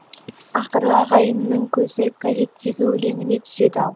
ақыры ағайының көзі газеттегі өлеңіне түседі ау